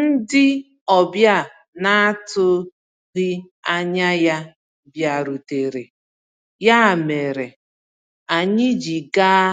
Ndị ọbịa na-atụghị anya ya bịarutere, ya mere anyị ji gaa